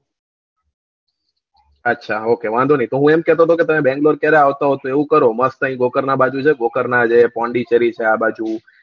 આછા OK વાંધો ની તો હું એમ કેતો તો કે તમે બેંગ્લોર ક્યારે આવસો એવું કરો મસ્ત આવવું આઈય ના બાજુ માં છે ના છે પોંડીચેરી છે આ બાજુ